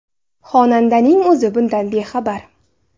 Xonandaning o‘zi bundan bexabar.